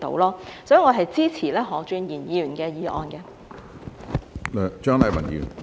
所以，我支持何俊賢議員的議案。